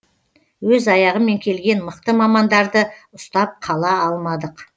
өз аяғымен келген мықты мамандарды ұстап қала алмадық